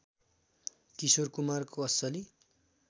किशोर कुमारको असलि